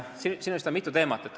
Siin vist kõlas mitu teemat.